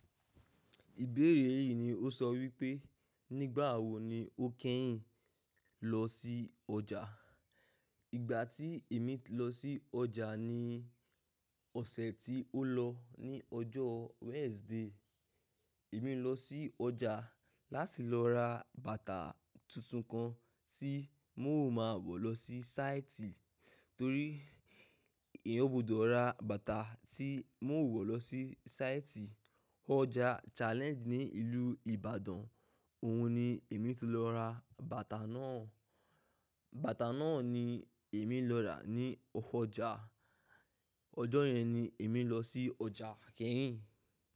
Ìbéèrè yìí ni ó sọ wípé, nígbà wo ni o kẹ́yìn lọ sí ọjà? Ìgbà tí èmi lọ sí ọjà ni ọ̀sẹ̀ tí ó lọ ní ọjọ́ Wednesday. Èmi ń lọ sí ọjà láti lọ ra bàtà tuntun kan tí mo máa wọ̀ lọ sí sáìtì torí èyan gbudọ̀ ra bàtà tí n ó wọ̀ lọ sí sáìtì. Ọjà Challenge ní ìlú Ìbàdàn, òun ni èmi ti lọ ra bàtà náà. Bàtà náà ni èmi lọ rà ní ọjà. Ọjọ́ yẹn ni èmi lọ sí ọjà kẹ́yìn.